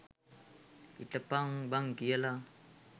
හිටපං බං කියලා.